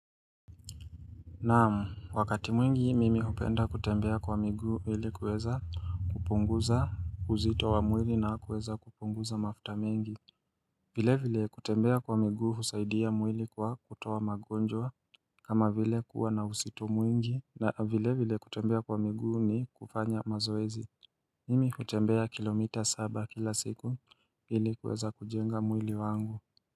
Naam, wakati mwingi mimi hupenda kutembea kwa miguu ili kuweza kupunguza uzito wa mwili na kuweza kupunguza mafuta mengi vile vile kutembea kwa miguu husaidia mwili kwa kutoa magonjwa kama vile kuwa na uzito mwingi na vile vile kutembea kwa miguu ni kufanya mazoezi Mimi hutembea kilomita saba kila siku ili kuweza kujenga mwili wangu.